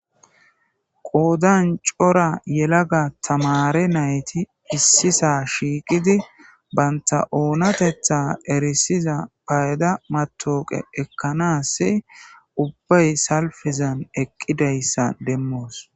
qoodan cora yelaga tamare nayti issisa shiiqidi banta oonatetha erisiza payda matoqe ekkanas ubbay salfizan eqqidayssa demmoos